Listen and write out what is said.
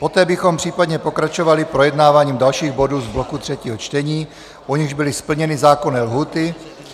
Poté bychom případně pokračovali projednáváním dalších bodů z bloku třetího čtení, u nichž byly splněny zákonné lhůty.